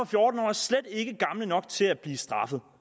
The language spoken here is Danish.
fjorten år er slet ikke gamle nok til at blive straffet